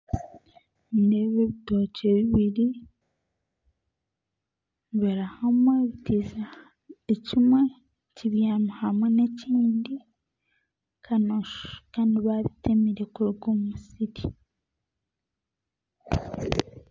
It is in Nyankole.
Nindeeba ebitookye bibiri biri hamwe ekindi kibyamiire aha kindi Kandi babitemire kuruga omu musiri